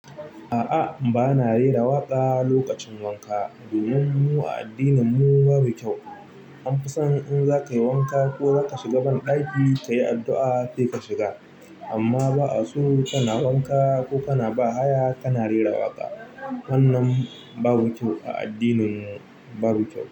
A'a, ba na rera waƙa lokacin wanka domin mu a addinin mu babu kyau. An fi san in za ka yi wanka ko za ka shiga banɗaki, ka yi addu'a sai ka shiga. Amma ba'aso ko kana wanka ko kana bahaya kana waƙa. Wannan babu kyau a addinin mu babu kyau.